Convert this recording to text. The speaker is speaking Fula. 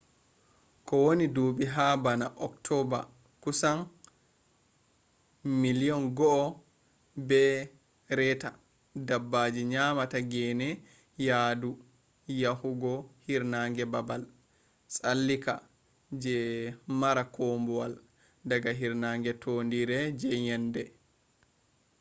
kowani dubi ha bana october kusan 1.5 million dabbaji nyamata gene yadu yahugo hirnange babal tsallika je mara kumbawal daga hirnange tondire je yende